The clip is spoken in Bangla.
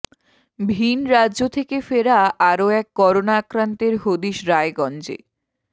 ভিনরাজ্য থেকে ফেরা আরও এক করোনা আক্রান্তের হদিশ রায়গঞ্জে